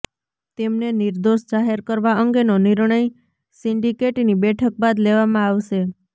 તેમને નિર્દોષ જાહેર કરવા અંગેનો નિર્ણય સિન્ડિકેટની બેઠક બાદ લેવામાં આવશે